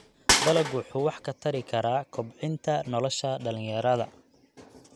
Dalaggu wuxuu wax ka tari karaa kobcinta nolosha dhalinyarada.